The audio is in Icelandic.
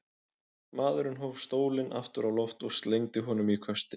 Maðurinn hóf stólinn aftur á loft og slengdi honum í köstinn.